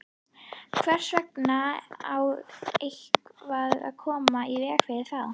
Hvers vegna á eitthvað að koma í veg fyrir það?